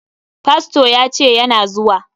Fasto ya ce yana zuwa.